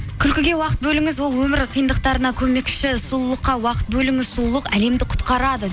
күлкіге уақыт бөліңіз ол өмір қиындықтарына көмекші сұлулыққа уақыт бөліңіз сұлулық әлемді құтқарады